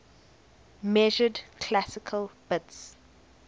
measured classical bits